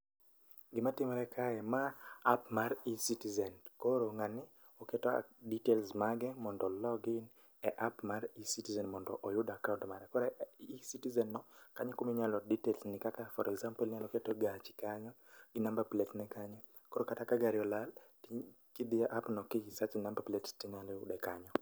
Gima timore kae, ma app mar e-Citizen. To koro ng'ani oketo details mage mondo o log in e app mar e-Citizen mondo oyud akaont mare. Koro e-Citizen no kanyo e kuminyalo details ni kaka for example inyaketo gachi kanyo gi number plate ne kanyo. Koro kata ka gari olal, ti kidhi e app no ki sach e number plate tinyalo yude kanyo.